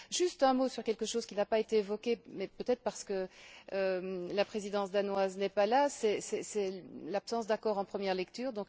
Juste un mot sur quelque chose qui n'a pas été évoqué, peut être parce que la Présidence danoise n'est pas là, c'est l'absence d'accord en première lecture.